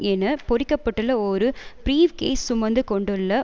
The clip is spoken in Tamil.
என பொறிக்கப்பட்டுள்ள ஒரு பிரீவ் கேஸ் சுமந்து கொண்டுள்ள